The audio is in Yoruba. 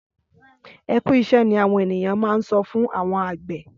Ẹkú iṣẹ ni awọn ènìyàn má n sọ fún àwọn àgbẹ.